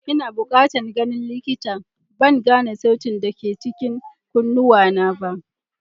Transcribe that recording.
Ina bukatan ganin likita, ban gane sautin da ke cikin kunnuwana ba.